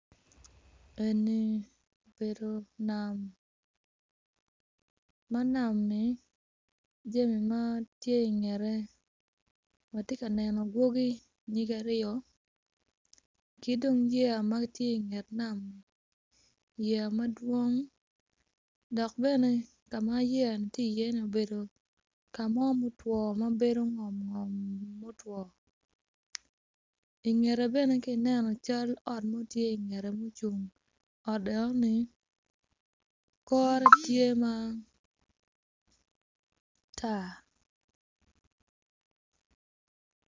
Eni obedo nam ma nami jami mo tye ingete atye ka neno anyogi nyige aryo ki dong yeya mo tye inget nami yeya madwong dok bene ka ma yeya ni tye iye ni obedo ka mo mutwo ma bedo ngom ngom mutwo ingete bene ka ineno cal ot mo tye ingete mucung ot enoni kore tye matar